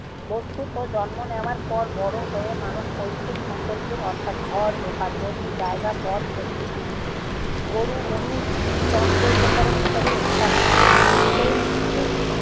বস্তুত জন্ম নেওয়ার পর বড় হয়ে মানুষ পৈতৃক সম্পত্তির অর্থাৎ ঘর, দোকান, জমি-জায়গা, পদ, গরু, মহিষ, চন্দ্র উপকরণ ইত্যাদির অধিকারী হয়।